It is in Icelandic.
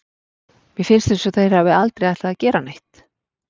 Mér finnst eins og þeir hafi aldrei ætlað að gera neitt.